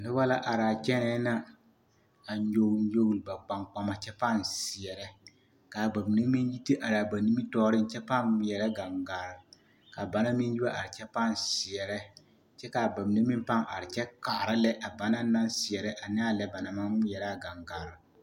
Noba la araa kyɛnɛɛ na a nyɔgele nyɔgele ba kpaŋkpama kyɛ pãã seɛrɛ k'a bamine meŋ yi te araa ba nimitɔɔreŋ kyɛ pãã ŋmeɛrɛ gaŋgaare ka banaŋ meŋ yi wa are kyɛ pãã seɛrɛ kyɛ k'a bamine meŋ pãã are kyɛ kaara lɛ a banaŋ naŋ seɛrɛ aneɛ lɛ banaŋ maŋ ŋmeɛrɛ a gaŋgaare.